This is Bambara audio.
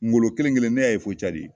Ngolo kelen kelen in ne y'a ya fo cadi.